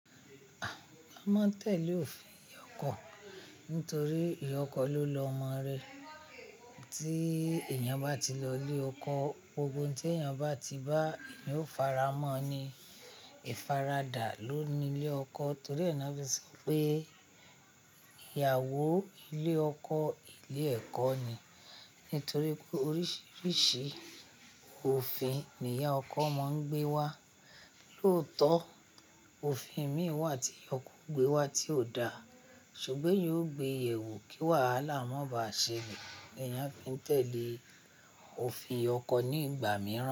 A máa ń tẹ̀lé òfin ìyá ọkọ nítorí ìyá ọkọ ló lọmọ rẹ̀. Tí èèyàn bá ti lọ ilé ọkọ, gbogbo ohun tí èèyàn bá ti bá èèyàn fara mọ́ ni ìfaradà ló ni ilé ọkọ torí ẹ́ ná fi sọ pé ìyàwó ilé ọkọ, ilé ẹ̀kọ́ ni nítorí pé oríṣiríṣi òfin ni ìyá ọkọ máa ń gbé wá. Lóòótọ́, òfin mìíràn wà tí ìyá ọkọ gbé wá tí ò da, ṣùgbọ́n yóò gbe ẹ̀wù kí wàhálà má ba ṣe ní. Èèyàn fi ń tẹ̀lé òfin ìyá ọkọ ní ìgbà mìíràn.